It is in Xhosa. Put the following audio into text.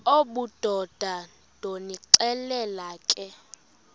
obudoda ndonixelela ke